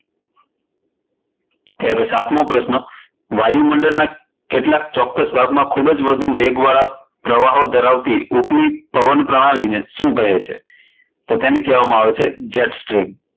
સાતમો પ્રશ્ન, વાયુમંડળ ના કેટલાક ચોક્કસ ભાગમાં ખુબજ વધુ વેગ વાળા પ્રવાહો ધરાવતી ઉપલી પવન પ્રણાલિ ને શું કહે છે? તો તેને કહેવામાં આવે છે jetstream.